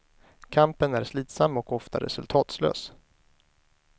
Kampen är slitsam och ofta resultatlös.